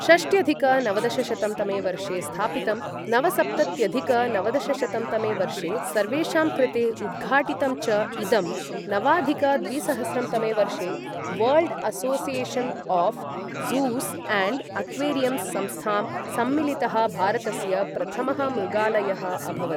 षष्ट्यधिक नवदशशतं तमे वर्षे स्थापितं नवसप्तत्यधिक नवदशशतं तमे वर्षे सर्वेषां कृते उद्घाटितं च इदं, नवाधिक द्विसहस्रं तमे वर्षे world association of zoos and aquariums सम्स्थां सम्मिलितः भारतस्य प्रथमः मृगालयः अभवत्।